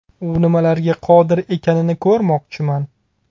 U nimalarga qodir ekanini ko‘rmoqchiman.